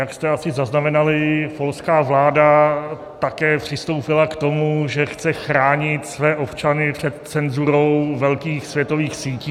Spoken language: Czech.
Jak jste asi zaznamenali, polská vláda také přistoupila k tomu, že chce chránit své občany před cenzurou velkých světových sítí.